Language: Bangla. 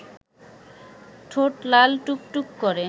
ঠোঁট লাল টুকটুক করে